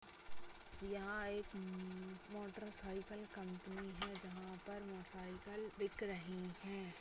यहाँ एक हम्म मोटरसाइकिल कंपनी है जहाँ पर मोटरसाइकिल बिक रहीं है ।